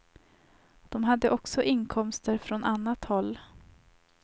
De hade också inkomster från annat håll.